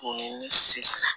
Ni ne seli la